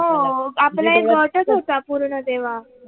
हो आपला एक गटच होता पूर्ण तेव्हा